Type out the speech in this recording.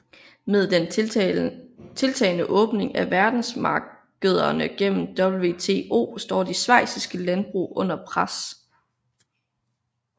Med den tiltagende åbning af verdensmarkederne gennem WTO står de schweziske landbrug under pres